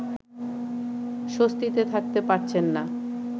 স্বস্তিতে থাকতে পারছেন না